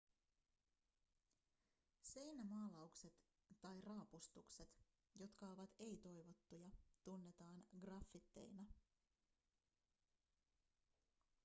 seinämaalaukset tai raapustukset jotka ovat ei-toivottuja tunnetaan graffiteina